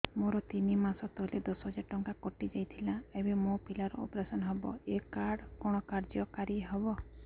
ମୋର ତିନି ମାସ ତଳେ ଦଶ ହଜାର ଟଙ୍କା କଟି ଯାଇଥିଲା ଏବେ ମୋ ପିଲା ର ଅପେରସନ ହବ ଏ କାର୍ଡ କଣ କାର୍ଯ୍ୟ କାରି ହବ